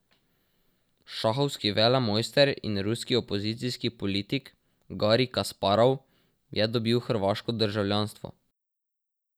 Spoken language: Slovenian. Šahovski velemojster in ruski opozicijski politik Garij Kasparov je dobil hrvaško državljanstvo.